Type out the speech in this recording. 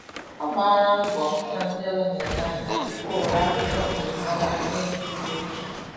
Ọ gbala mbo fu na ndị ọzọ na-ele anya tupu o nwere akwokwu njirimara ya nye ndị uweojii.